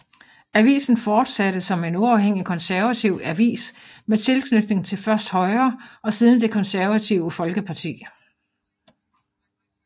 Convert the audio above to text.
Avisen fortsatte som en uafhængig konservativ avis med tilknytning til først Højre og siden Det Konservative Folkeparti